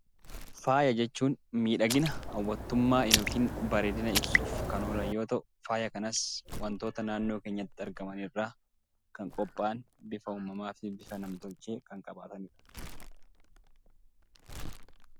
Faaya jechuun miidhagina hawwattummaa yookiin bareedina ibsuuf kan oolan yoo ta'u, faaya kanas wantoota naannoo keenyatti argaman irraa kan qophaa'an bifa uumamaa fi bifa nam-tolchee kan qabaatanidha.